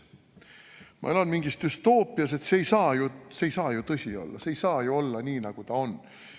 Ma elan mingis düstoopias, see ei saa ju tõsi olla, see ei saa ju olla nii, nagu ta on.